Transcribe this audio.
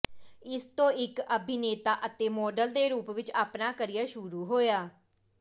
ਇਸ ਤੋਂ ਇਕ ਅਭਿਨੇਤਾ ਅਤੇ ਮਾਡਲ ਦੇ ਰੂਪ ਵਿਚ ਆਪਣਾ ਕਰੀਅਰ ਸ਼ੁਰੂ ਹੋਇਆ